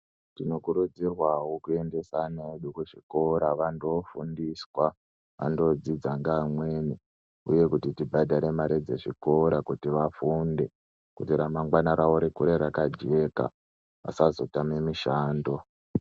Tinokurudzirwavo kuendesa ana edu kuchikora andofundiswa andodzidza ngeamweni, uye kuti tibhadhare mare dzezvikora kuti vafunde kuti ramangwana ravo rikure rakajeka vasazotame mishando.